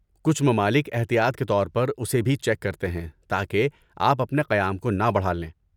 کچھ ممالک احتیاط کے طور پر اسے بھی چیک کرتے ہیں تاکہ آپ اپنے قیام کو نہ بڑھا لیں۔